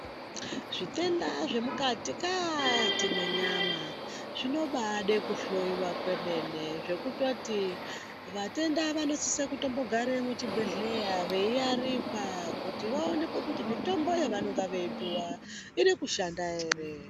Zvitenda zvemukati-kaaati mwenyama zvinobaada kuhloiwa kwemene, zvekutoti vatenda vanosise kutombogara muzvibhedhleya, veiarikwa, veionekwa kuti mitombo yevari kupuwa iri kushanda ere.